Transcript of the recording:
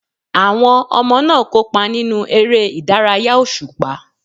Àwọn ọmọ náà kópa nínú eré ìdárayá òṣùpá.